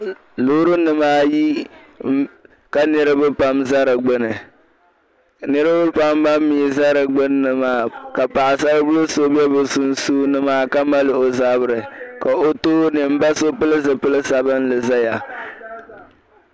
Loorinima ayi n ka niriba pam n za di gbuni niriba pam ban mii zaa di gbunni maa ka paɣ'sali bila so bɛ be sunsuuni maa ka mali o zabiri ka o tooni mba so pili zipil' sabinli zaya